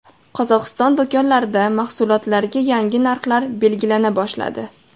Qozog‘iston do‘konlarida mahsulotlarga yangi narxlar belgilana boshladi.